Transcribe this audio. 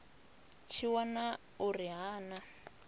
tshi wana uri ha na